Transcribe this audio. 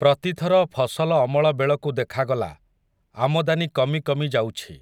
ପ୍ରତିଥର ଫସଲ ଅମଳ ବେଳକୁ ଦେଖାଗଲା, ଆମଦାନୀ କମି କମି ଯାଉଛି ।